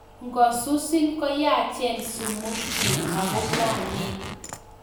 Ngosusiin koyaachen sumuk chiik agongwaneen